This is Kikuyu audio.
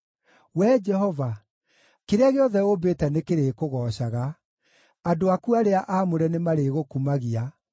Wee Jehova, kĩrĩa gĩothe ũmbĩte nĩkĩrĩkũgoocaga; andũ aku arĩa aamũre nĩmarĩgũkumagia.